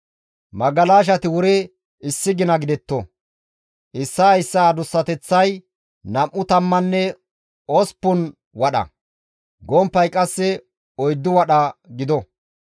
Magalashati wuri issi gina gidetto; issaa issaa adussateththay nam7u tammanne osppun wadha; gomppay qasse oyddu wadha gido.